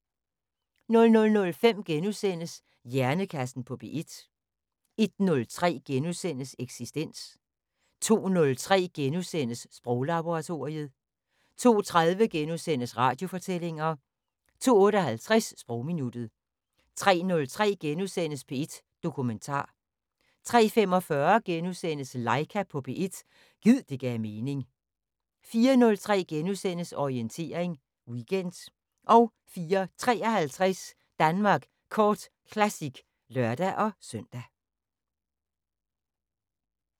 00:05: Hjernekassen på P1 * 01:03: Eksistens * 02:03: Sproglaboratoriet * 02:30: Radiofortællinger * 02:58: Sprogminuttet 03:03: P1 Dokumentar * 03:45: Laika på P1 – gid det gav mening * 04:03: Orientering Weekend * 04:53: Danmark Kort Classic (lør-søn)